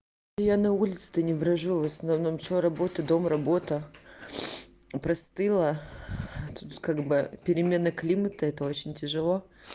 я на улице-то не брожу в основном что работа дом работа простыла тут как бы перемена климата это очень тяжело